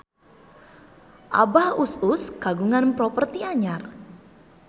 Abah Us Us kagungan properti anyar